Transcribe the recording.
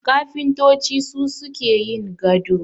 Kafintoci su suke yin gado